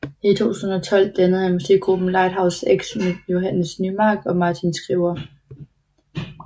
I 2012 dannede han musikgruppen Lighthouse X med Johannes Nymark og Martin Skriver